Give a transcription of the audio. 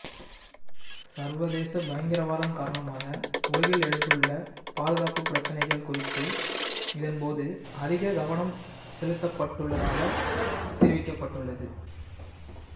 சர்வதேச பயங்கரவாதம் காரணமாக உலகில் எழுந்துள்ள பாதுகாப்பு பிரச்சினைகள் குறித்து இதன்போது அதிக கவனம் செலுத்தப்பட்டுள்ளதாக தெரிவிக்கப்பட்டுள்ளது